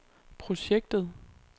projektet